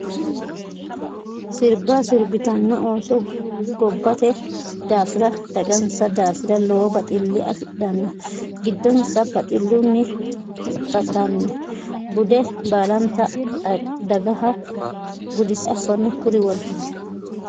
Sirba sirbittano ooso gobbate daafira dagansa daafira lowo baxile afidhano giddonsa baxilunni huxattano bude baallanta dagaha gudise affano kuri worbulli.